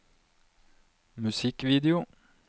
musikkvideo